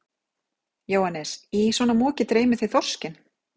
Jóhannes: Í svona moki dreymir þig þorskinn?